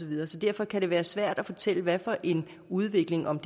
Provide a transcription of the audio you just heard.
videre så derfor kan det være svært at fortælle hvad for en udvikling om